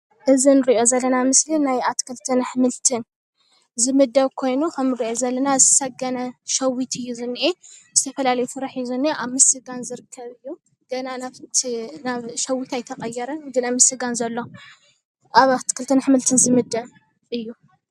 እዚ እንሪኦ ዘለና ምስሊ ናይ አትክልትን አሕምልቲ ዝምደብ ኮይኑ ከምንሪኦ ዘለና ዝሰገነ ሸዊት እዩ ዝነኤ ዝተፈላለየ ፍረ ሒዙ እነኤ አብ ምስገን ዝርከብ እይ ገና አሸወተን አይተቀየረን ገና አብ ምስጋን ዘሎ አብ አትክልትን አሕምልቲ ዝምደብ እዩ፡፡